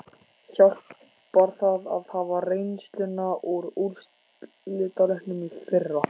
Hjálpar það að hafa reynsluna úr úrslitaleiknum í fyrra?